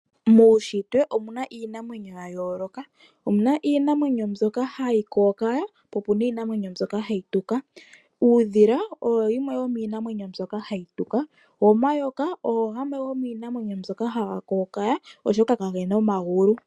Muushitwe omuna iinamwenyo ya yooloka, omuna iinamwenyo mbyoka hayi kookaya, opena iinamwenyo mbyoka hayi tuka. Uudhila oyo yimwe yo miinamwenyo mbyoka hayi tuka, go omayoka ogo gamwe go miinamwenyo mbyoka ha ga kookaya oshoka ka gena omagulu.